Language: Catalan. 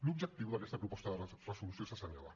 l’objectiu d’aquesta proposta de resolució és assenyalar